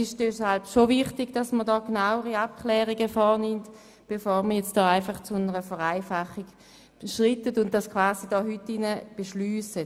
Deshalb ist es wichtig, genauere Abklärungen vorzunehmen, bevor man zu einer Vereinfachung schreitet und diese quasi hier und heute beschliesst.